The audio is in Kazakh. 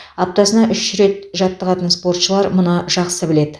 аптасына үш рет жаттығатын спортшылар мұны жақсы біледі